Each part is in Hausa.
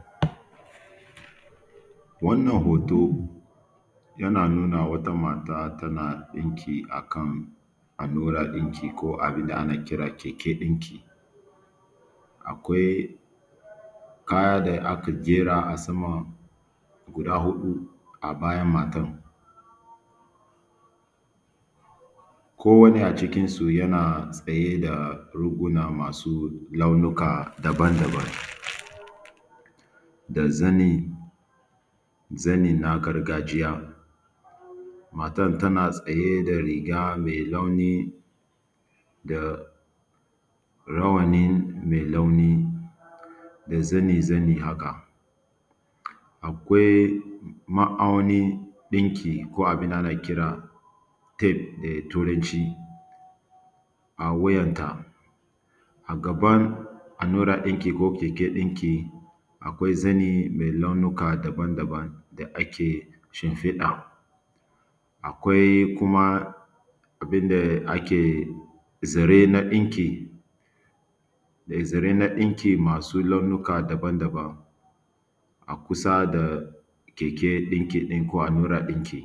gaya nan ana wato ainihin tsintuwa, wanda ke buƙata zai zo da kuɗin sa idan ya zo ya biya sai a bashi sai ya yi amfani ya sa cikin wannan buhu domin ya je ya yi amfani da shi wato ainihin dankalin. Gaya nan an riga an ɗebo shi an kawo kasuwa an yi mai tari –tari wannan kowane tari yana da nashi kuɗi misali sai mutum ya zo ya tambaya idan ya yi ciniki sai a bashi wato ainihin kuɗɗin ahh ya bada kuɗin sai a bashi dankalin ya tafi da shi domin ya yi amfani da shi. Akwai ma’auni ɗinki ko abin da ana kira tape da turanci a wuyan ta. A gaban allura ɗinki ko keken ɗinki akwai zani mai launuka daban-daban da ake shimfiɗa. Akwai kuma abin da ake zare na ɗinki da zare na ɗinki masu launuka daban-daban a kusa da keke ɗinki ɗin ko allurar ɗinki.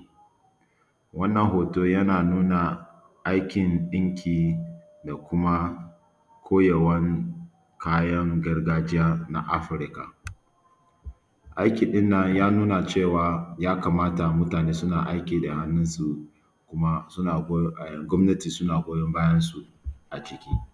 Wannan hoto yana nuna aikin ɗinki da kuma koyawan kayan gargajiya na Afirka. Aiki ɗin nan ya nuna cewa ya kamata mutane suna aiki da hannun su kuma suna goyo gwamnati suna goyon bayan su aciki.